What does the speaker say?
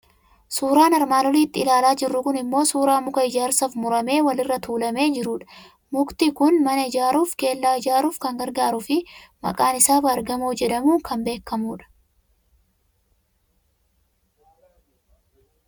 Suuraan armaan olitti ilaalaa jirru kun immoo suuraa muka ijaarsaaf muramee wal irra tuulamee jirudha. Mukti kun mana ijaaruuf, kellaa ijaaruuf kan gargaaruu fi maqaan isaa baargamoo jedhamuun kan beekamudha.